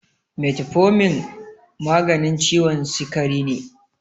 Metformin maganin ciwon sikari ne